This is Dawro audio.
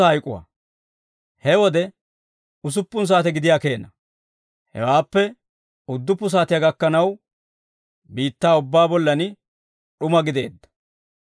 He wode usuppun saate gidiyaa keena; hewaappe udduppu saatiyaa gakkanaw, biittaa ubbaa bollan d'uma gideedda.